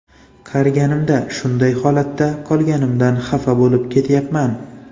Qariganimda shunday holatda qolganimdan xafa bo‘lib ketyapman.